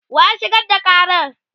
wa ya shigar da Karan?